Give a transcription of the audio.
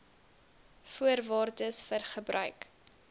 voorwaardes vir gebruik